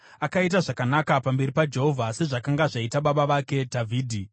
Akaita zvakanaka pamberi paJehovha, sezvakanga zvaita baba vake Dhavhidhi.